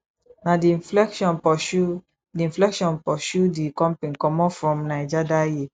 na di inflation pursue di inflation pursue di company comot from naija dat year